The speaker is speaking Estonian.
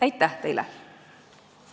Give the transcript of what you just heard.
Aitäh teile!